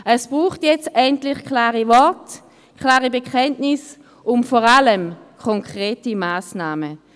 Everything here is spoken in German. Es braucht jetzt endlich klare Worte, klare Bekenntnisse und vor allem konkrete Massnahmen.